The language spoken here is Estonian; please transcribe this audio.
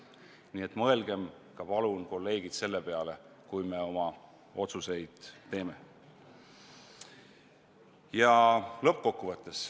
Nii et palun mõelgem, kolleegid, ka selle peale, kui me oma otsuseid teeme.